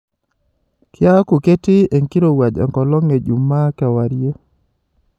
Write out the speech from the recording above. kiaku ketii enkirowaj enkolong ejumaa kewarie